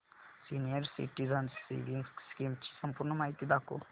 senior citizens savings scheme ची संपूर्ण माहिती दाखव